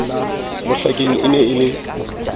mohlakeng e ne e le